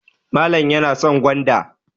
Malam yana son gwanda.